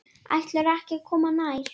Ætlarðu ekki að koma nær?